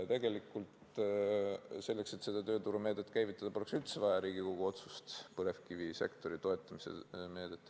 Tegelikult selleks, et seda tööturumeedet käivitada, põlevkivisektori toetamise meedet, poleks üldse vaja Riigikogu otsust.